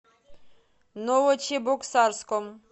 новочебоксарском